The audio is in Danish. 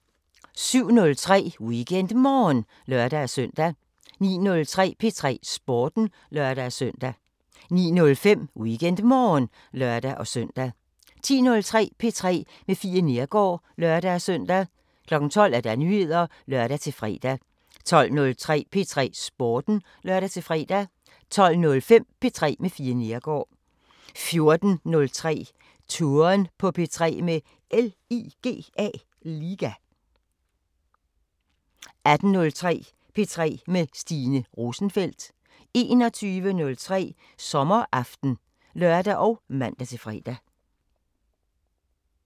07:03: WeekendMorgen (lør-søn) 09:03: P3 Sporten (lør-søn) 09:05: WeekendMorgen (lør-søn) 10:03: P3 med Fie Neergaard (lør-søn) 12:00: Nyheder (lør-fre) 12:03: P3 Sporten (lør-fre) 12:05: P3 med Fie Neergaard 14:03: Touren på P3 – med LIGA 18:03: P3 med Stine Rosenfeldt 21:03: Sommeraften (lør og man-fre)